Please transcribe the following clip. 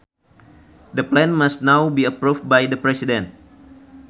The plan must now be approved by the president